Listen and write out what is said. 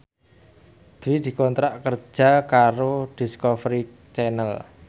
Dwi dikontrak kerja karo Discovery Channel